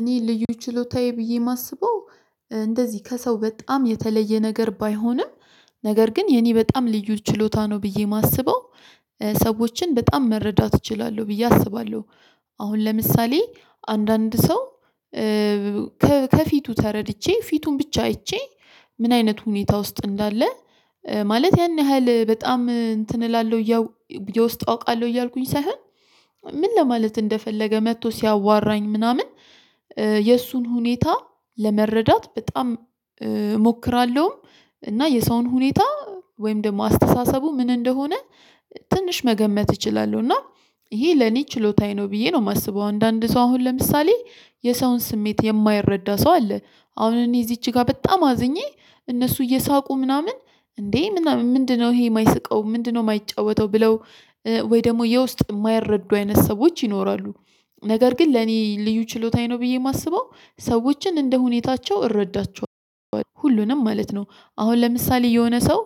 እኔ ልዩ ችሎታዬ ብዬ የማስበው እንደዚህ ከሰው በጣም የተለየ ነገር ባይሆንም ነገር ግን የኔ በጣም ልዩ ችሎታ ነው ብዬ የማስበው። ሰዎችን በጣም መረዳት እችላለሁ ብዬ አስባለሁ። አሁን ለምሳሌ አንዳንድ ሰው ከፊቱ ተረድቼ ፊቱን ብቻ አይቼ ምን አይነት ሁኔታ ውስጥ እንዳለ? ማለት ያን ያህል በጣም እንትን እላለሁ። የውስጥ አውቃለሁ እያልኩኝ ሳይሆን ምን ለማለት እንደፈለገ መጥቶ ሲያዋራኝ ምናምን የእሱን ሁኔታ ለመረዳት በጣም እሞክራለሁ። እና የሰውን ሁኔታ ወይም ደግሞ አስተሳሰቡ ምን እንደሆነ ትንሽ መገመት እችላለሁ። እና ይሄ ለኔ ችሎታዬ ነው ብዬ ነው የማስበው። አንዳንድ ሰው አሁን ለምሳሌ የሰውን ስሜት የማይረዳ ሰው አለ። አሁን እኔ እዚች ጋር በጣም አዝኜ እነሱ እየሳቁ ምናምን እንዴ ምናምን ምንድነው ይሄ የማይስቀው ምንድነው የማይጫወተው ብለው? ወይ ደግሞ የውስጥ የማይረዱ አይነት ሰዎች ይኖራሉ። ነገር ግን ለኔ ልዩ ችሎታዬ ነው ብዬ የማስበው ሰዎችን እንደ ሁኔታቸው እረዳቸዋለሁ ሁሉንም ማለት ነው። አሁን ለምሳሌ የሆነ ሰው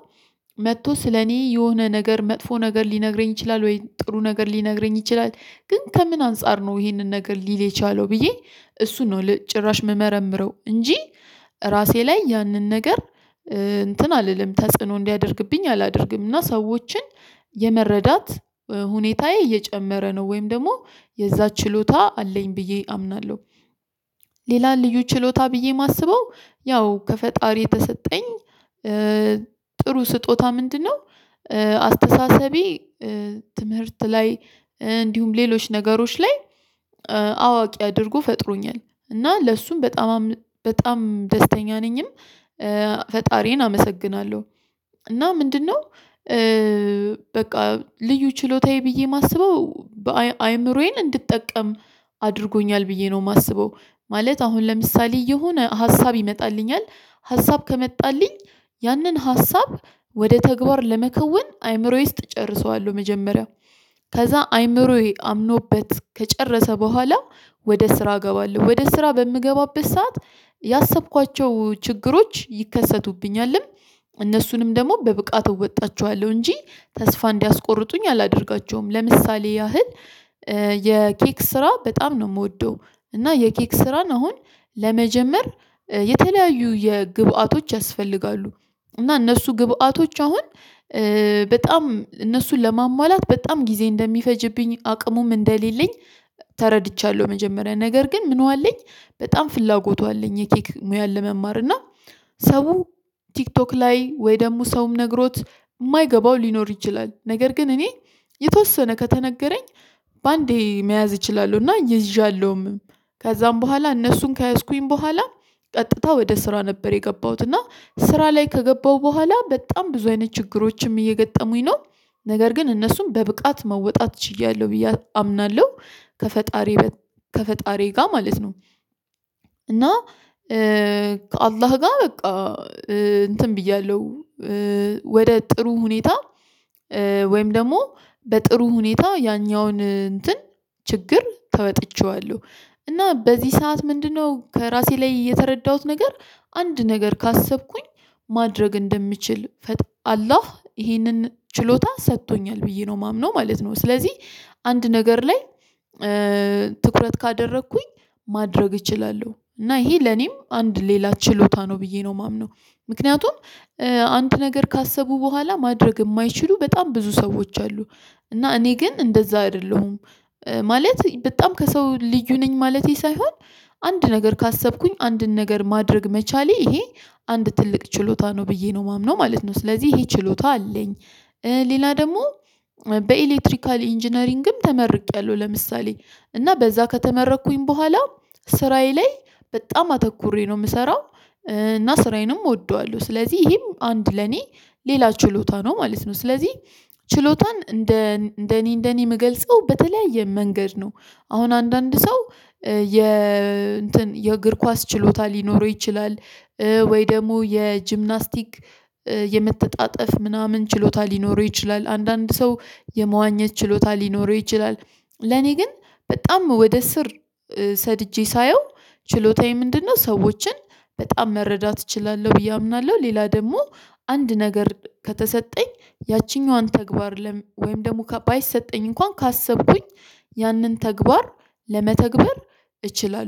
መጥቶ ስለኔ የሆነ ነገር መጥፎ ነገር ሊነግረኝ ይችላል ወይ ጥሩ ነገር ሊነግረኝ ይችላል። ግን ከምን አንፃር ነው ይሄንን ነገር ሊል የቻለው ብዬ እሱን ነው ለጭራሽ የምመረምረው። እንጂ ራሴ ላይ ያንን ነገር እንትን አልልም ተጽዕኖ እንዲያደርግብኝ አላደርግም። እና ሰዎችን የመረዳት ሁኔታዬ እየጨመረ ነው ወይም ደግሞ የዛ ችሎታ አለኝ ብዬ አምናለሁ። ሌላ ልዩ ችሎታ ብዬ የማስበው ያው ከፈጣሪ የተሰጠኝ ጥሩ ስጦታ ምንድነው? አስተሳሰቤ ትምህርት ላይ እንዲሁም ሌሎች ነገሮች ላይ አዋቂ አድርጎ ፈጥሮኛል። እና ለእሱም በጣም ደስተኛ ነኝም። ፈጣሪዬን አመሰግናለሁ። እና ምንድነው? በቃ ልዩ ችሎታዬ ብዬ የማስበው አእምሮዬን እንድጠቀም አድርጎኛል ብዬ ነው የማስበው። ማለት አሁን ለምሳሌ የሆነ ሀሳብ ይመጣልኛል። ሀሳብ ከመጣልኝ ያንን ሀሳብ ወደ ተግባር ለመከውን አይምሮዬ ውስጥ እጨርሰዋለሁ መጀመሪያው። ከዛ አይምሮዬ አምኖበት ከጨረሰ በኋላ ወደ ስራ እገባለሁ። ወደ ስራ በምገባበት ሰዓት ያሰብኳቸው ችግሮች ይከሰቱብኛልም። እነሱንም ደግሞ በብቃቱ እወጣቸዋለሁ እንጂ ተስፋ እንዲያስቆርጡኝ አላደርጋቸውም። ለምሳሌ ያህል የኬክ ስራ በጣም ነው የምወደው። እና የኬክ ስራን አሁን ለመጀመር የተለያዩ የግብአቶች ያስፈልጋሉ። እና እነሱ ግብአቶች አሁን በጣም እነሱን ለማሟላት በጣም ጊዜ እንደሚፈጅብኝ አቅሙም እንደሌለኝ። ተረድቻለሁ መጀመሪያ ነገር ግን ምኑ አለኝ በጣም ፍላጎቱ አለኝ የኬክ ሙያን ለመማር እና። ሰው ቲክቶክ ላይ ወይ ደግሞ ሰውም ነግሮት የማይገባው ሊኖር ይችላል ነገር ግን እኔ የተወሰነ ከተነገረኝ በአንዴ መያዝ እችላለሁና ይዣለሁም። ከዛም በኋላ እነሱን ከያዝኩኝ በኋላ ቀጥታ ወደ ስራ ነበር የገባሁት እና ስራ ላይ ከገባሁ በኋላ በጣም ብዙ አይነት ችግሮችም እየገጠሙኝ ነው። ነገር ግን እነሱም በብቃት መወጣት ችያለሁ ብዬ አምናለሁ። ከፈጣሪ ጋር ማለት ነው። እና ከአላህ ጋር በቃ እንትን ብያለሁ ወደ ጥሩ ሁኔታ ወይም ደግሞ በጥሩ ሁኔታ ያኛውን እንትን ችግር ተወጥቼዋለሁ። እና በዚህ ሰዓት ምንድነው? ከራሴ ላይ እየተረዳሁት ነገር አንድ ነገር ካሰብኩኝ ማድረግ እንደምችል አላህ ይሄንን ችሎታ ሰጥቶኛል ብዬ ነው የማምነው ማለት ነው። ስለዚህ አንድ ነገር ላይ ትኩረት ካደረኩኝ ማድረግ እችላለሁ። እና ይሄ ለኔም አንድ ሌላ ችሎታ ነው ብዬ ነው የማምነው። ምክንያቱም አንድ ነገር ካሰቡ በኋላ ማድረግ የማይችሉ በጣም ብዙ ሰዎች አሉ። እና እኔ ግን እንደዛ አይደለሁም። ማለት በጣም ከሰው ልዩ ነኝ ማለቴ ሳይሆን አንድ ነገር ካሰብኩኝ አንድን ነገር ማድረግ መቻሌ ይሄ አንድ ትልቅ ችሎታ ነው ብዬ ነው የማምነው ማለት ነው። ስለዚህ ይሄ ችሎታ አለኝ። ሌላ ደግሞ በኤሌክትሪካል ኢንጂነሪንግም ተመርቄያለሁ ለምሳሌ እና በዛ ከተመረኩኝ በኋላ ስራዬ ላይ በጣም አተኩሬ ነው የምሰራው። እና ስራዬንም እወደዋለሁ ስለዚህ ይሄም አንድ ለኔ ሌላ ችሎታ ነው ማለት ነው። ስለዚህ ችሎታን እንደ እንደኔ እንደኔ የምገልጸው በተለያየ መንገድ ነው። አሁን አንዳንድ ሰው የ እንትን የእግር ኳስ ችሎታ ሊኖረው ይችላል። ወይ ደግሞ የጅምናስቲክ የመተጣጠፍ ምናምን ችሎታ ሊኖረው ይችላል አንዳንድ ሰው የመዋኘት ችሎታ ሊኖረው ይችላል። ለኔ ግን በጣም ወደ ስር ሰድጄ ሳየው ችሎታዬ ምንድነው? ሰዎችን በጣም መረዳት እችላለሁ ብዬ አምናለሁ። ሌላ ደግሞ አንድ ነገር ከተሰጠኝ ያቺኛዋን ተግባር ወይም ደግሞ ባይሰጠኝ እንኳን ካሰብኩኝ ያንን ተግባር ለመተግበር እችላለሁ